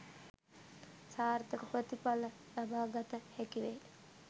සාර්ථක ප්‍රතිඵල ලබාගත හැකි වේ